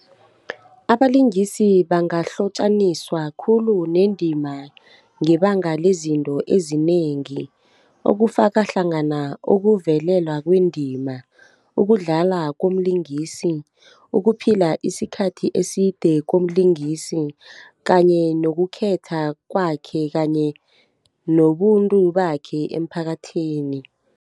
Abalingisi bangahlotjaniswa khulu nendima ngebanga lezinto ezinengi, okufakahlangana ukuvelelwa kwendima, ukudlala komlingisi, ukuphila isikhathi eside komlingisi kanye nokukhetha kwakhe kanye nobuntu bakhe emphakathini.